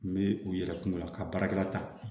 N bɛ u yɛrɛ kungo la ka baarakɛla ta